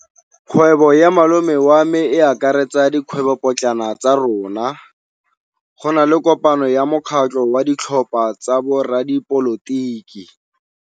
Kgwêbô ya malome wa me e akaretsa dikgwêbôpotlana tsa rona. Go na le kopanô ya mokgatlhô wa ditlhopha tsa boradipolotiki.